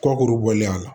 Kɔkurubɔlen la